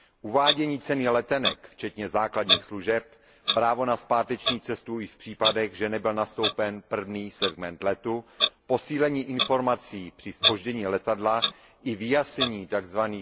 Uvádění ceny letenek včetně základních služeb, právo na zpáteční cestu už v případech, že nebyl nastoupen první segment letu, posílení informací při zpoždění letadla i vyjasnění tzv.